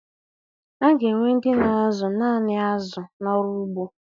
A ga-enwe ndị na-azụ naanị azụ n'ọrụ ugbo.